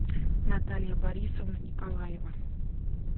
наталья борисовна николаева